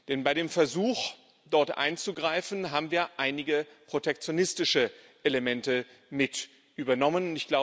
Denn bei dem Versuch, dort einzugreifen, haben wir einige protektionistische Elemente mit übernommen.